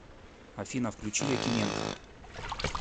афина включи якименко